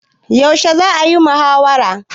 Yaushe za'a yi muhawarar?